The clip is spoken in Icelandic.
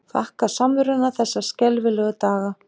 Þakka samveruna þessa skelfilegu daga.